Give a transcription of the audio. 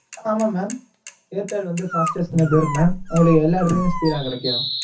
ஆமா mam airtel வந்து fastest network mam உங்களுக்கு எல்லா இடத்துலையும் speed ஆ கிடைக்கும்.